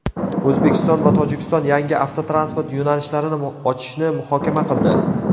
O‘zbekiston va Tojikiston yangi avtotransport yo‘nalishlarini ochishni muhokama qildi.